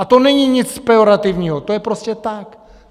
A to není nic pejorativního, to je prostě tak.